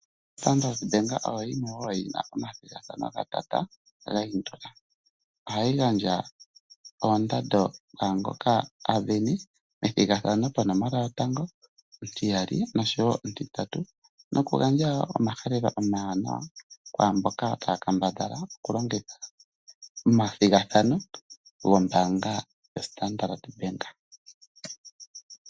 Standard Bank oyo yimwe wo yi na omathigathano ga tata ga yindula. Ohayi gandja oondando kwaangoka a sindana methigathano ponomola yotango, ontiyali nosho wo ontintatu nokugandja wo omahalelo omawanawa kwaamboka taya kambadhala okulongitha omathigathano gombaanga yoStandard Bank.